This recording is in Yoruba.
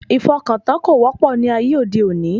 Ìfọkàntán kò wọ́pọ̀ ní ayé òde òní